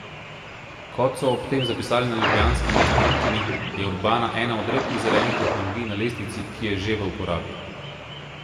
Kot so ob tem zapisali na ljubljanski mestni občini, je urbana ena od redkih zelenih tehnologij na lestvici, ki je že v uporabi.